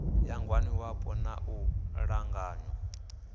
ya ngwaniwapo na u ṱanganywa